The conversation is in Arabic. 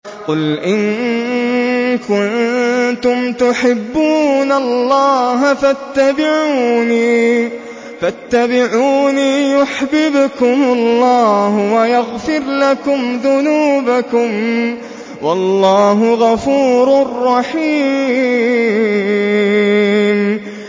قُلْ إِن كُنتُمْ تُحِبُّونَ اللَّهَ فَاتَّبِعُونِي يُحْبِبْكُمُ اللَّهُ وَيَغْفِرْ لَكُمْ ذُنُوبَكُمْ ۗ وَاللَّهُ غَفُورٌ رَّحِيمٌ